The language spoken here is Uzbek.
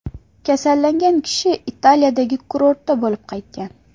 Kasallangan kishi Italiyadagi kurortda bo‘lib qaytgan.